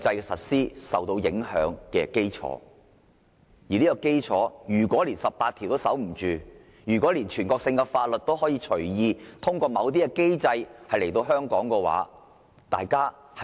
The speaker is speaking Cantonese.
面對這衝擊，如果連《基本法》第十八條也守不住，全國性法律就可以隨意通過某些機制在香港實施。